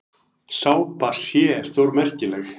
Sápa sé stórmerkileg.